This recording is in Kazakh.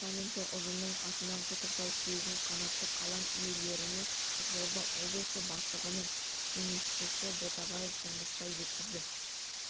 департаменті ұжымының атынан құттықтау сөзін қанатты қалам иелеріне қызылорда облысы бастығының кеңесшісі ботабаев тұңғышбай жеткізді